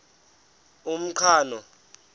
umqhano